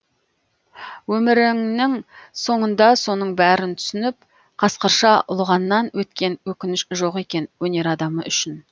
өміріңнің соңында соның бәрін түсініп қасқырша ұлығаннан өткен өкініш жоқ екен өнер адамы үшін